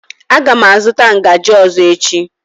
Aga m azụta ngaji ọzọ echi.